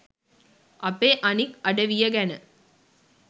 අපේ අනික් අඩවිය ගැන.